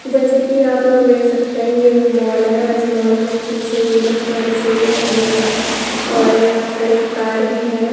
जैसे की आपलोग देख सकते हैं यह एक मॉल है और इस मॉल में पीछे लिफ्ट वाली सीढ़ियां लगी हुई है। और यहां पर एक कार भी है।